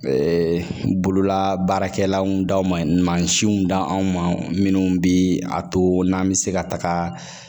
bololabaarakɛlaw da ma siw da anw ma minnu bɛ a to n'an bɛ se ka taga